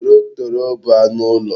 Torotoro bu anu ulo